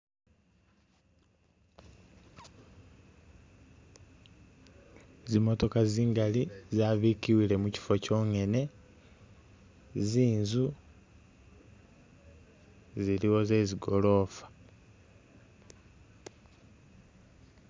Zimotoka zingali zabikiwile mukyifo tsonyene , zinzu ziliwo zezi’gorofa.